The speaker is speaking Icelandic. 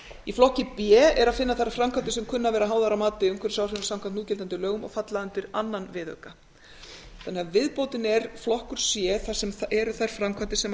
í flokki b er að finna þær framkvæmdir sem kunna að vera háðar að mati á umhverfisáhrifum samkvæmt núgildandi lögum og falla undir öðrum viðauka þannig að viðbótin er flokkur c þar sem eru þær framkvæmdir sem